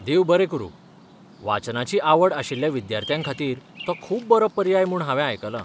देव बरें करूं, वाचनाची आवड आशिल्ल्या विद्यार्थ्यांखातीर तो खूब पर्याय म्हूण हांवें आयकलां.